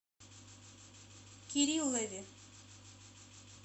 кириллове